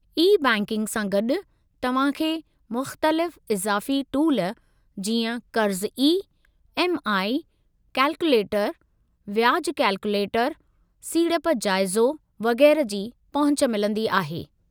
E-banking सां गॾु, तव्हां खे मुख़्तलिफ़ इज़ाफ़ी टूल जीअं क़र्ज़ु ई. एम. आई. कैलकुलेटरु, ब्याज कैलकुलेटरु, सीड़प जाइज़ो वगै़रह जी पहुच मिलंदी आहे।